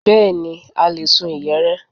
Bẹ́ẹ̀ni, a le a lè sun ìyẹ̀rẹ̀